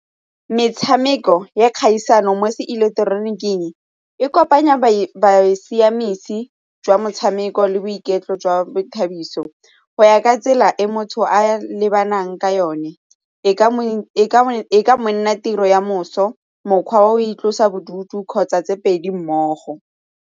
Metshameko ya kgaisano mo seileketeroniking e kopanya jwa motshameko le boiketlo jwa boithabiso go ya ka tsela e motho a lebanang ka yone e ka nna tiro ya moso, mokgwa wa go itlosa bodutu kgotsa tse pedi mmogo